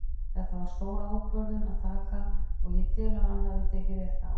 Þetta var stór ákvörðun að taka og ég tel að hann hafi tekið rétta ákvörðun.